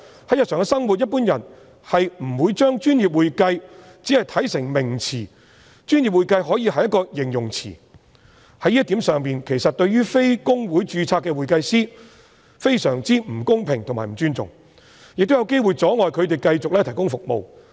在日常生活中，一般人不會把"專業會計"看成一個名詞，"專業會計"可以是一個形容詞，在這一點上，其實對於非公會註冊的會計師非常不公平及不尊重，亦有機會阻礙他們繼續提供服務。